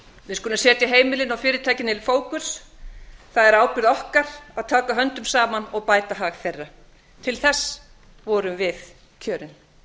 við skulum setja heimilin og fyrirtækin í fókus það er ábyrgð okkar að taka höndum saman og bæta hag þeirra til þess vorum við kjörin